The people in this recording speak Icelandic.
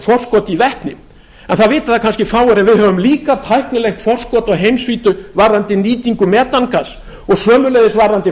forskot í vetni en það vita það kannski fáir að við höfum líka tæknilegt forskot á heimsvísu varðandi nýtingu metangass og sömuleiðis varðandi